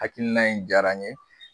Hakilina in jayara n ye